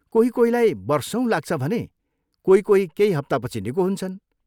कोही कोहीलाई वर्षौँ लाग्छ भने कोही कोही केही हप्तापछि निको हुन्छन्।